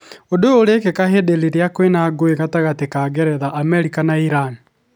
Ũndũ ũyũ ũrekĩka ihinda rĩrĩa kũrĩ na ngũĩ gatagatĩ ka Ngeretha, Amerika na Iran.